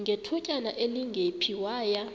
ngethutyana elingephi waya